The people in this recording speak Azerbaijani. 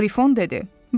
Qrifon dedi.